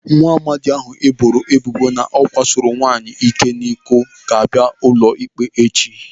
Nwaamadi ahụ ana-ebo ebubo na ọ kwasoro nwaanyị iko n'ike ga-abịa ụlọ ikpe echi.